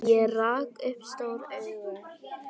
Ég rak upp stór augu.